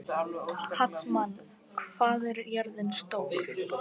Hallmann, hvað er jörðin stór?